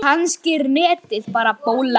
Kannski er netið bara bóla.